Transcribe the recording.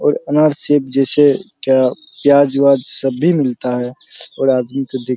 और अनार सेब जैसे क्या प्याज उवाज सब भी मिलता है और आदमी को --